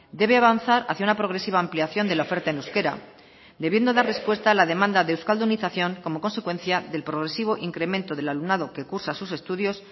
debe avanzar hacia una progresiva ampliación de la oferta en euskera debiendo dar respuesta a la demanda de euskaldunización como consecuencia del progresivo incremento del alumnado que cursa sus estudios